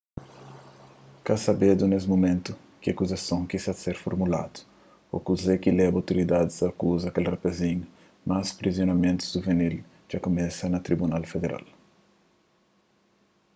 ka sabedu nes mumentu ki akuzasons ki ta ser formuladu ô kuze ki leba otoridadis a akuza kel rapazinhu mas prusidimentus juvinil dja kumesa na tribunal federal